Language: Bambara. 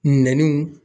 Nɛniw